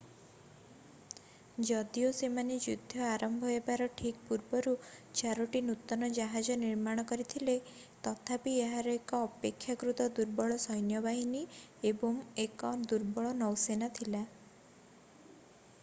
ଯଦିଓ ସେମାନେ ଯୁଦ୍ଧ ଆରମ୍ଭ ହେବାର ଠିକ୍ ପୂର୍ବରୁ ଚାରୋଟି ନୂତନ ଜାହାଜ ନିର୍ମାଣ କରିଥିଲେ ତଥାପି ଏହାର ଏକ ଅପେକ୍ଷାକୃତ ଦୁର୍ବଳ ସୈନ୍ୟ ବାହିନୀ ଏବଂ ଏକ ଦୁର୍ବଳ ନୌସେନା ଥିଲା